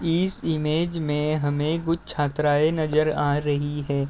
इस इमेज में हमें कुछ छात्राएं नजर आ रही हैं।